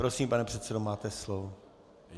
Prosím, pane předsedo, máte slovo.